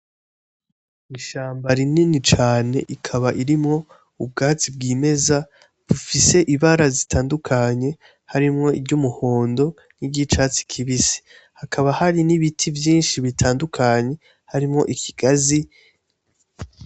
Ishamba rinini cane ikaba irimwo ubwazi bw'imeza bufise ibara zitandukanye harimwo iryo umuhondo n'iryo icatsi kibise hakaba hari n'ibiti vyinshi bitandukanye harimwo ikigazi.